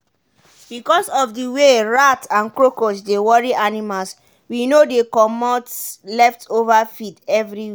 because of the way rat and cockroach dey worry animals we no dey comot leftover feed every night.